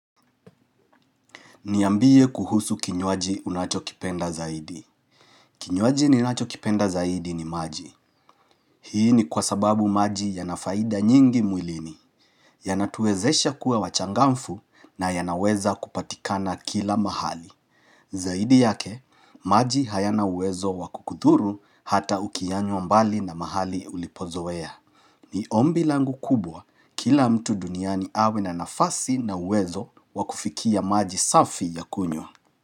Niambie kuhusu kinywaji unachokipenda zaidi. Kinywaji ninachokipenda zaidi ni maji. Hii ni kwa sababu maji yana faida nyingi mwilini. Yanatuwezesha kuwa wachangamfu na yanaweza kupatikana kila mahali. Zaidi yake, maji hayana uwezo wakukudhuru hata ukiyanywa mbali na mahali ulipozoea. Ni ombi langu kubwa kila mtu duniani awe na nafasi na uwezo wakufikia maji safi ya kunywa.